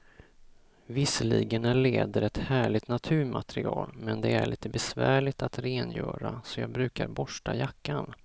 Visserligen är läder ett härligt naturmaterial, men det är lite besvärligt att rengöra, så jag brukar borsta jackan.